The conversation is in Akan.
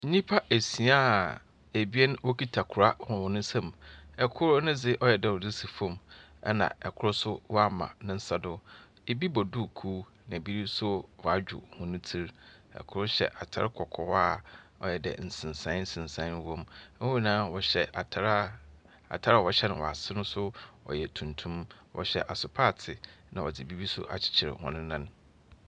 Nipa esiaa ebien wɔkuta kora wɔ wɔn ɛ nsam. ɛkoro no de wayɛ dɛɛ ɔresi fam ɛna ɛkoro nso wama ne nsa do. Ebi bɔ duku ɛna ebi nso wadwo wɔn tri . Ɛkoro hyɛ ataare kɔkɔɔ a wayɛ dɛɛ nsensaayɛ nsensaayɛ ɛwɔ mu. Wɔn nyinaa wɔhyɛ atareɛ a wahyɛ no wɔ aseɛ no yɛ tuntum. Wɔhyɛ asopaate na wɔde biribi akyerekyere wɔn nan.